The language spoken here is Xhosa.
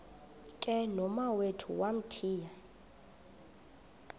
ke nomawethu wamthiya